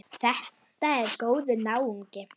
Þetta er góður náungi.